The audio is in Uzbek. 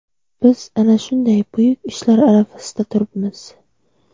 Biz ana shunday buyuk ishlar arafasida turibmiz.